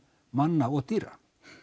manna og dýra